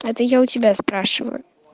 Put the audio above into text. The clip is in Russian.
это я у тебя спрашиваю